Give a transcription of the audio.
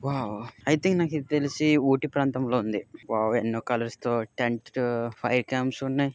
Wow I think నాకు ఇది తెలిసి ఓటి ప్రాంతంలో ఉంది. వావ్ టెంట్ ఫైర్ కాంప్స్ ఉన్నాయి.